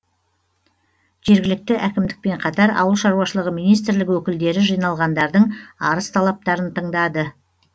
жергілікті әкімдікпен қатар ауыл шаруашылығы министрлігі өкілдері жиналғандардың арыз талаптарын тыңдады